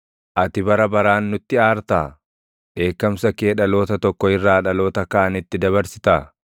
Ati bara baraan nutti aartaa? Dheekkamsa kee dhaloota tokko irraa dhaloota kaanitti dabarsitaa?